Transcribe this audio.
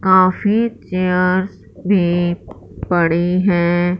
काफी चेयर्स भी पड़ी है।